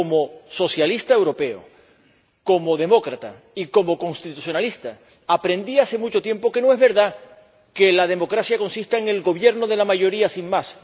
Ahora, como socialista europeo, como demócrata y como constitucionalista aprendí hace mucho tiempo que no es verdad que la democracia consista en el gobierno de la mayoría sin más.